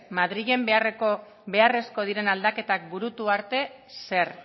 madrilen beharrezko diren aldaketak burutu arte zer